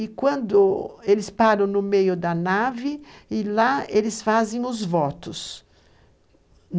E quando eles param no meio da nave, e lá eles fazem os votos.